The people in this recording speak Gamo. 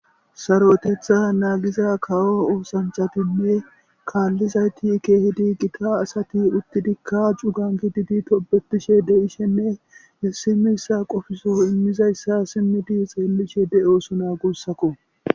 saro7etetha naagiza kawo oosanchatinne kaallizayti keehidi gita asati uttidikka cugan gididi tobetishe de ishenne simiyssa qofisu immizayssa simmi di xeellishe de oosona gussakko